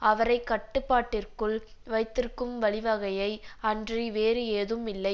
அவரை கட்டுப்பாட்டிற்குள் வைத்திருக்கும் வழிவகையை அன்றி வேறு ஏதும் இல்லை